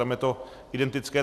Tam je to identické.